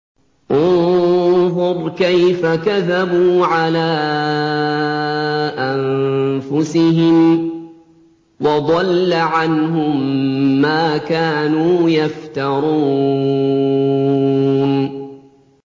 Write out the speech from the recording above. انظُرْ كَيْفَ كَذَبُوا عَلَىٰ أَنفُسِهِمْ ۚ وَضَلَّ عَنْهُم مَّا كَانُوا يَفْتَرُونَ